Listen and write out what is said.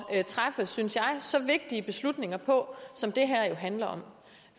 træffe synes jeg så vigtige beslutninger på som det her jo handler om